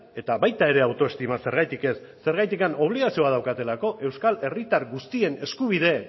eta baita ere autoestima zergatik ez zergatik obligazioa daukatelako euskal herritar guztien eskubide